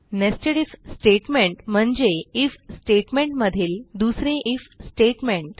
nested IF statement म्हणजे IF statement मधील दुसरे आयएफ स्टेटमेंट